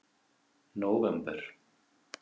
nóvember